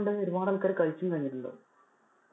ഒരുപാട് ആൾക്കാര് കഴിച്ചും കഴിഞ്ഞിട്ടുണ്ടാകും.